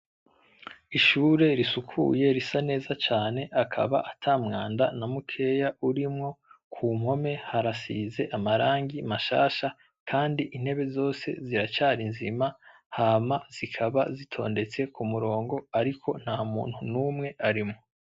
Ishure risukuye risa neza cane, akaba ata mwanda na mukeya urimwo, kumpome harasize amarangi mashasha, kandi intebe zose ziracari nzima, hama zikaba zitondetse k'umurongo ariko nta muntu n'umwe arimwo.